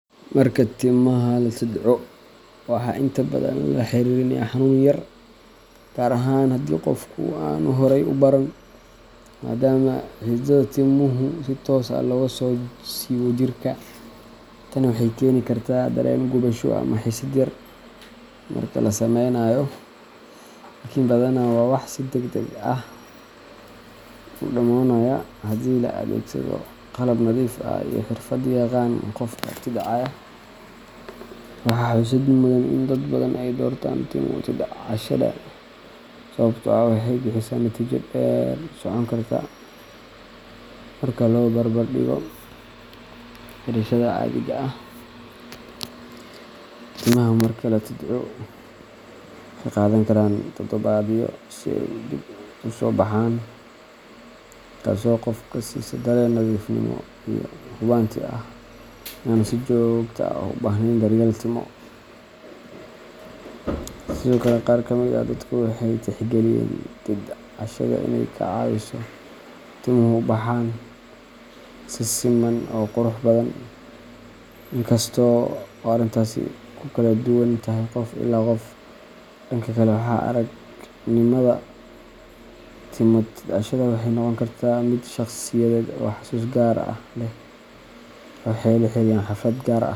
Marka timaha la tidco, waxaa inta badan lala xiriiriyaa xanuun yar, gaar ahaan haddii qofku aanu horey u baran, maadaama xididdada timuhu si toos ah looga soo siibo jirka. Tani waxay keeni kartaa dareen gubasho ama xiisad yar marka la samaynayo, laakiin badanaa waa wax si degdeg ah u dhammaanaya haddii la adeegsado qalab nadiif ah iyo xirfad yaqaan qofka tidcaya. Waxaa xusid mudan in dad badan ay doortaan timo tidcashada sababtoo ah waxay bixisaa natiijo dheer socon karta marka loo barbardhigo xiirashada caadiga ah. Timaha marka la tidco, waxay qaadan karaan toddobaadyo si ay dib u soo baxaan, taasoo qofka siisa dareen nadiifnimo iyo hubanti ah in aanu si joogto ah u baahnayn daryeel timo Sidoo kale, qaar ka mid ah dadku waxay tixgeliyaan tidcashada inay ka caawiso in timuhu u baxaan. si siman oo qurux badan, inkasta oo arrintaasi ku kala duwan tahay qof ilaa qof. Dhanka kale, waaya-aragnimada timo tidcashada waxay noqon kartaa mid shakhsiyadeed oo xasuus gaar ah leh qaar waxay la xiriiriyaan xaflad gaar ah.